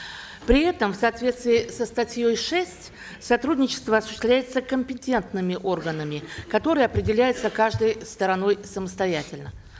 при этом в соответствии со статьей шесть сотрудничество осуществляется компетентными органами которые определяются каждой стороной самостоятельно